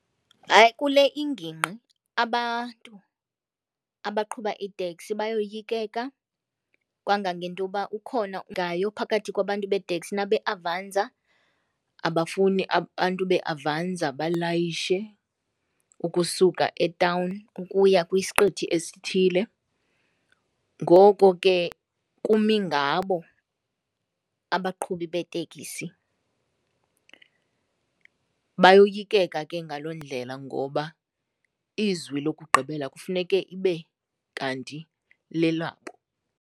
Hayi kule ingingqi abantu abaqhuba iiteksi bayoyikeka. Kangangento uba ukhona phakathi kwabantu beeteksi nabe-Avanza, abafuni abantu bee-Avanza balayishe ukusuka etawuni ukuya kwisiqithi esithile, ngoko ke kumi ngabo abaqhubi beeteksi. Bayoyikeka ke ngaloo ndlela ngoba izwi lokugqibela kufuneke ibe kanti lelabo.